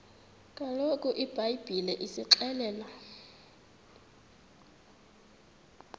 kaloku ibhayibhile isixelela